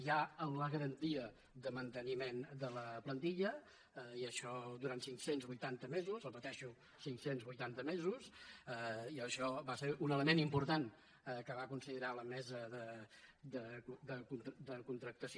hi ha la garantia de manteniment de la plantilla i això durant cinc cents i vuitanta mesos ho repeteixo cinc cents i vuitanta mesos i això va ser un element important que va considerar la mesa de contractació